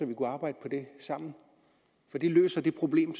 vi arbejde på det sammen for det løser det problem